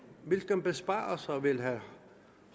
hvilke besparelser vil herre